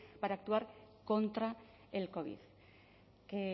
para actuar contra el covid que